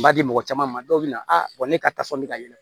N b'a di mɔgɔ caman ma dɔw bɛna a bɔ ne ka tasɔn bɛ ka yɛlɛ